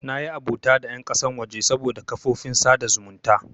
Nayi abota da ƴan ƙasan waje saboda kafofin sada zumunta.